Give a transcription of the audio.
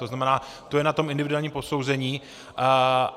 To znamená, to je na tom individuálním posouzení.